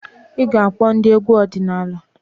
Ị ga-akpọ ndị egwu ọdịnala?